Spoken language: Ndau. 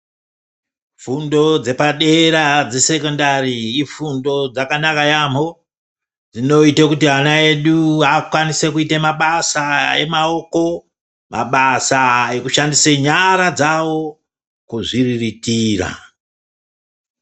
Fundo dzepadera dzesekendari ifundo dzakanaka yaamho. Dzinoite kuti ana edu akwanise kuite mabasa emaoko, mabasa ekushandisa nyara dzawo kuzviriritira.